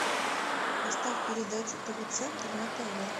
поставь передачу тв центр на тв